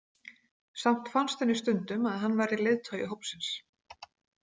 Samt fannst henni stundum að hann væri leiðtogi hópsins.